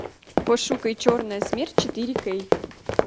пошукай черная смерть четыре кей